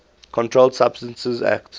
controlled substances acte